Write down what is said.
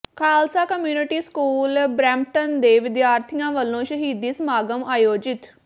Khalsa community school Brampton ਦੇ ਵਿਦਿਆਰਥੀਆਂ ਵਲੋਂ ਸ਼ਹੀਦੀ ਸਮਾਗਮ ਆਯੋਜਿਤ